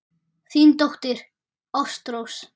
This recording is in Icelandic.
Þín dóttir, Ástrós.